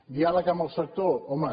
diàleg amb el sector home